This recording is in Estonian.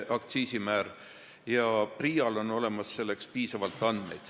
Ka PRIA-l on selleks olemas piisavalt andmeid.